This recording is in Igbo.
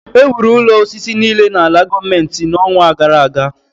Ewuru ụlọ osisi niile n’ala gọọmentị n’ọnwa gara aga